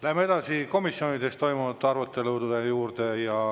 Läheme edasi komisjonides toimunud arutelude juurde.